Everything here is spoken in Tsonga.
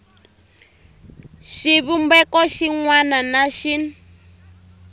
xivumbeko xin wana na xin